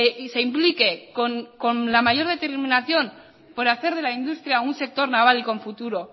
y se implique con la mayor determinación por hacer de la industria un sector naval y con futuro